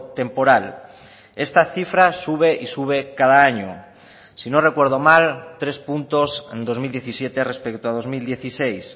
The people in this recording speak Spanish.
temporal esta cifra sube y sube cada año si no recuerdo mal tres puntos en dos mil diecisiete respecto a dos mil dieciséis